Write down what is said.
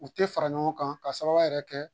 U tɛ fara ɲɔgɔn kan ka sababu yɛrɛ kɛ